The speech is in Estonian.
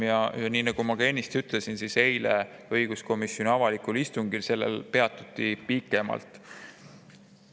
Ja nii nagu ma ennist ütlesin, eilsel õiguskomisjoni avalikul istungil peatuti sellel teemal pikemalt.